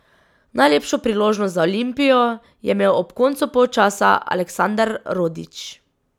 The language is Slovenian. Najlepšo priložnost za Olimpijo je imel ob koncu polčasa Aleksandar Rodić.